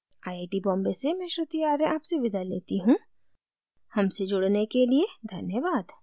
I I T Bombay से मैं श्रुति आर्य आपसे विदा लेती हूँ हमसे जुड़ने के लिए धन्यवाद